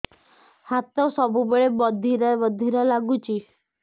ହାତ ସବୁବେଳେ ବଧିରା ବଧିରା ଲାଗୁଚି